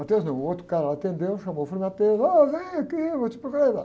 não, o outro cara atendeu, chamou o Frei, ó, vem aqui, vou te.